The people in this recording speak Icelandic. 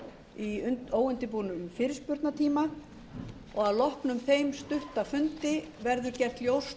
í óundirbúnum fyrirspurnatíma og að loknum þeim stutta fundi verður gert ljóst